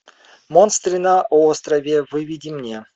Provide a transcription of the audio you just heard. монстры на острове выведи мне